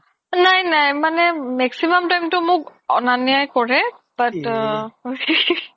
নাই নাই maximum time তো মোক অনান্য এহ